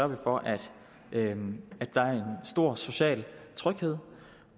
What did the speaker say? vi for at der er en stor social tryghed